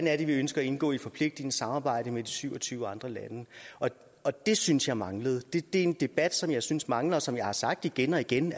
er vi ønsker at indgå i et forpligtende samarbejde med de syv og tyve andre lande det synes jeg manglede det er en debat som jeg synes mangler og som jeg har sagt igen og igen